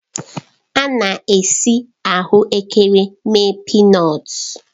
A na-esi ahụ ekere mee pịnọtu.